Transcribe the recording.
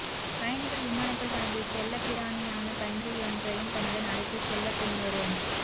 பயணிகள் விமானத்தில் தனது செல்லப்பிராணியான பன்றியொன்றையும் தன்னுடன் அழைத்துச் செல்ல பெண்ணொரு